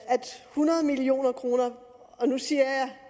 hundrede million kroner og nu siger